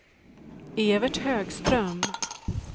Evert Högström